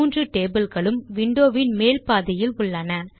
மூன்று டேபிள்ஸ் களூம் விண்டோ வின் மேல் பாதியில் உள்ளன